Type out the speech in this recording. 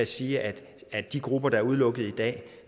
sige at de grupper der er udelukket i dag